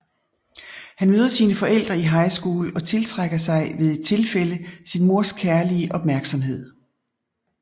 Han møder sine forældre i high school og tiltrækker sig ved et tilfælde sin mors kærlige opmærksomhed